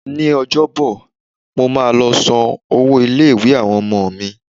Ní Ọjọ́bọ̀, mo máa lọ san owó ilé-ìwé àwọn ọmọ mi.